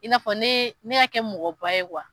I n'a fɔ ne ne ka kɛ mɔgɔba ye